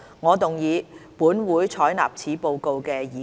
我動議"本會採納此報告"的議案。